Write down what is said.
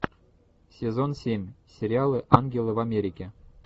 сезон семь сериала ангелы в америке